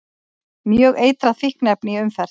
Mjög eitrað fíkniefni í umferð